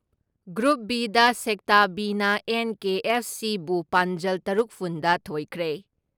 Group B ꯗ sector B ꯅ NKFC. B ꯕꯨ ꯄꯥꯟꯖꯜ ꯇꯔꯨꯛꯐꯨꯟ ꯗ ꯊꯣꯏꯈ꯭ꯔꯦ ꯫